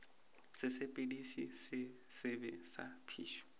sesepediši se sebe sa phišo